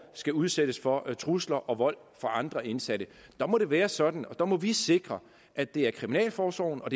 skal udsættes for trusler og vold fra andre indsatte der må det være sådan og det må vi sikre at det er kriminalforsorgen og